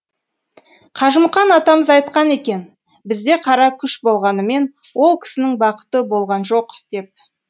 қажымұқан атамыз айтқан екен бізде қара күш болғанымен ол кісінің бақыты болған жоқ деп